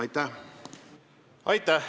Aitäh!